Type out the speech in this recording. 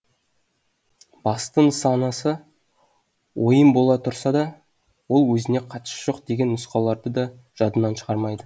басты нысанасы ойын бола тұрса да ол өзіне қатысы жоқ деген нұсқауларды да жадынан шығармайды